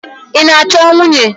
Ị na-achọ nwunye?